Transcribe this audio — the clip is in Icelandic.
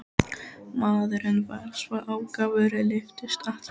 Maðurinn var svo ákafur, lyftist allur.